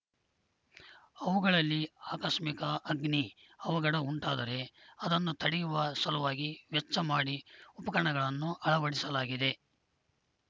ಅವುಗಳಲ್ಲಿ ಆಕಸ್ಮಿಕ ಅಗ್ನಿ ಅವಘಡ ಉಂಟಾದರೆ ಅದನ್ನು ತಡೆಯುವ ಸಲುವಾಗಿ ವೆಚ್ಚ ಮಾಡಿ ಉಪಕರಣಗಳನ್ನು ಅಳವಡಿಸಲಾಗಿದೆ